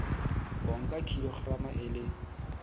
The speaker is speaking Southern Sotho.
o nka kilograma e le